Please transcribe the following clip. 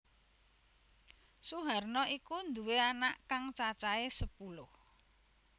Suharna iku nduwé anak kang cacahé sepuluh